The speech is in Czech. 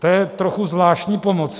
To je trochu zvláštní pomoc.